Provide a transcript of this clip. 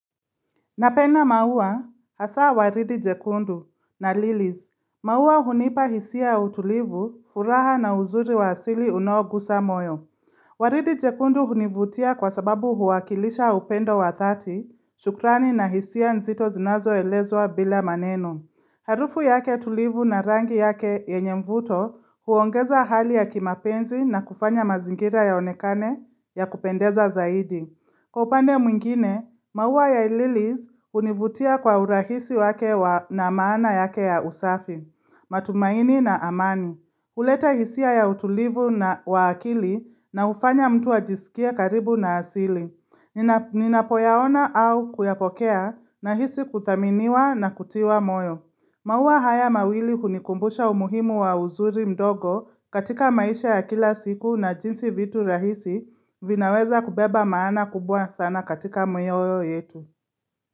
Napenda maua hasa waridi jekundu na Lilies. Maua hunipa hisia ya utulivu, furaha na uzuri wa asili unaogusa moyo. Waridi jekundu hunivutia kwa sababu huwakilisha upendo wa dhati, shukrani na hisia nzito zinazo elezwa bila maneno. Harufu yake tulivu na rangi yake yenye mvuto huongeza hali ya kimapenzi na kufanya mazingira yaonekane ya kupendeza zaidi. Kwa upande mwingine, maua ya ililies univutia kwa urahisi wake na maana yake ya usafi, matumaini na amani. Huleta hisia ya utulivu na wa akili na ufanya mtu ajisikie karibu na asili. Ninapoyaona au kuyapokea nahisi kuthaminiwa na kutiwa moyo. Maua haya mawili unikumbusha umuhimu wa uzuri mdogo katika maisha ya kila siku na jinsi vitu rahisi vinaweza kubeba maana kubwa sana katika mioyo yetu.